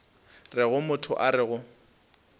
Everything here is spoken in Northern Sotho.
rego motho a re go